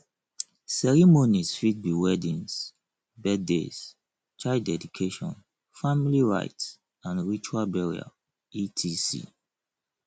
ceremonies fit be weddings birthdays child dedication family rites and ritual burial etc